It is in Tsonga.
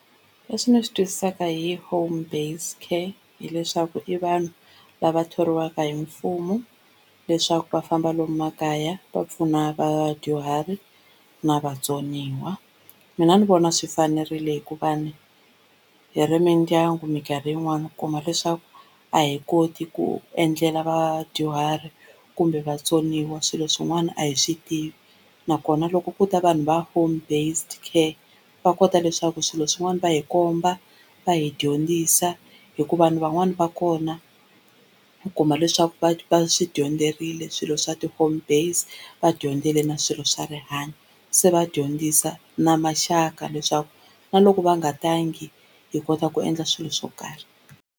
Leswi ndzi swi twisisaka hi home based care hileswaku i vanhu lava thoriwaka hi mfumo leswaku va famba lomu makaya va pfuna vadyuhari na vatsoniwa. Mina ni vona swi fanerile hikuva hi ri mindyangu mikarhi yin'wani u kuma leswaku a hi koti ku endlela vadyuhari kumbe vatsoniwa swilo swin'wana a hi swi tivi nakona loko ko ta vanhu va home based care va kota leswaku swilo swin'wana va hi komba va hi dyondzisa hikuva vanhu van'wani va kona u kuma leswaku va va swi dyondzerile swilo swa ti home based, va dyondzile na swilo swa rihanyo se va dyondzisa na maxaka leswaku na loko va nga tangi hi kota ku endla swilo swo karhi.